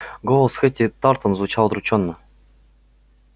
голос хэтти тартон звучал удручённо